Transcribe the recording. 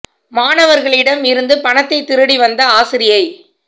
மாணவர்களிடம் இருந்து பணத்தை திருடி வந்த ஆசிரியை